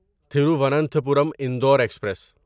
Thiruvananthapuram Indore express